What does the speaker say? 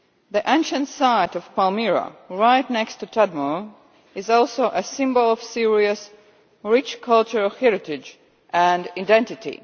The ancient site of Palmyra, right next to Tadmor, is also a symbol of Syria's rich cultural heritage and identity.